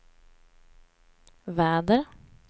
väder